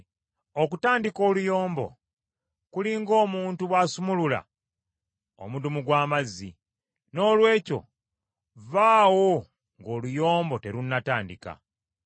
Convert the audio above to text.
Okutandika oluyombo kuli ng’omuntu bw’asumulula omudumu gw’amazzi, noolwekyo vvaawo ng’oluyombo terunnatandika.